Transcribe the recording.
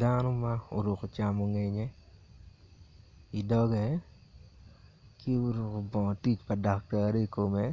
Dano ma oruko camongeye i doge ki oruko bongo tic i kome